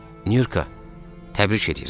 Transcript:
Nurka, təbrik edirəm.